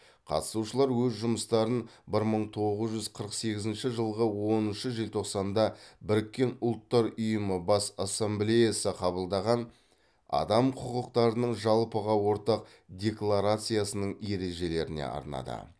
қатысушылар өз жұмыстарын бір мың тоғыз жүз қырық сегізінші жылғы оныншы желтоқсанда біріккен ұлттар ұйымы бас ассамблеясы қабылдаған адам құқықтарының жалпыға ортақ декларациясының ережелеріне арнады